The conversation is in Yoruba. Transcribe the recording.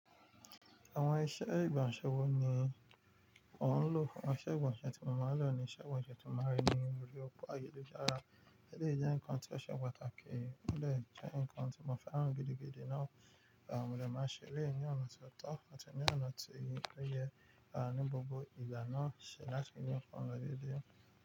Àwọn iṣẹ́ ìgbọ̀nsẹ̀ wo ni ò ń lò? Àwọn iṣẹ́ ìgbọ̀nsẹ̀ tí mo máa ń lò ni iṣẹ́ ìgbọ̀nsẹ̀ tí mo máa ń rí ní orí òpó ayélujára. Ele yi jẹ́ nǹkan tí ó ṣe pàtàkì, ó dè jẹ́ nǹkan tí mo fẹ́ràn gidi gidi náà. Mo de màá ṣe elé yi ọ̀nà ti ó tọ́ àti ní ọ̀nà ti ó yẹ ní gbogbo ìgbà náà ṣe láti ni ọmọdé dé.